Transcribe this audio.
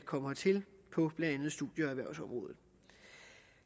kommer hertil på blandt andet studie og erhvervsområdet